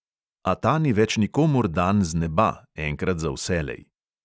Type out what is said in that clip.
A ta ni več nikomur dan z neba, enkrat za vselej.